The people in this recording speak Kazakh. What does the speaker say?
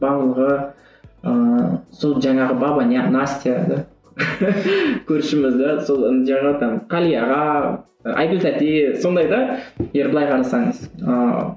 барлығы ыыы сол жаңағы баба настя да көршімізден сол қали аға айгуль тәте сондай да егер былай қарасаңыз ыыы